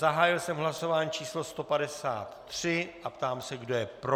Zahájil jsem hlasování číslo 153 a ptám se, kdo je pro.